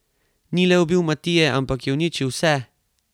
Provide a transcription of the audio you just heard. Ni le ubil Matije, ampak je uničil vse!